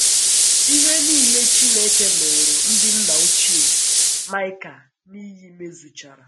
Ihe nile Chineke ṅụụrụ ndị nna ochie Maịka n’iyi mezuchara.